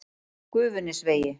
Gufunesvegi